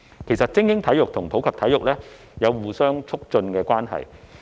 其實，精英體育與普及體育有着相互促進的關係。